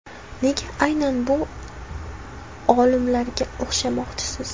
Nega aynan bu olimalarga o‘xshamoqchisiz?